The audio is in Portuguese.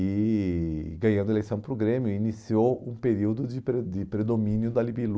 E, ganhando eleição para o Grêmio, iniciou um período de pre de predomínio da Libilu.